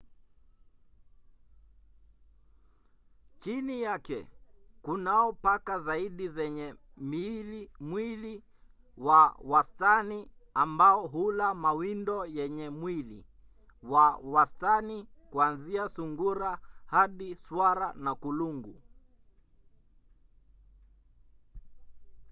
chini yake kunao paka zaidi zenye mwili wa wastani ambao hula mawindo yenye mwili wa wastani kuanzia sungura hadi swara na kulungu